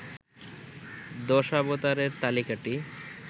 দশাবতারের তালিকাটি